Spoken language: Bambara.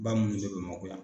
Ba munu bɛ Bamakɔ yan.